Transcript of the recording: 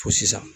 Fo sisan